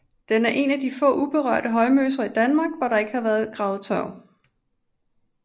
Den er en af de få uberørte højmoser i Danmark hvor der ikke har været gravet tørv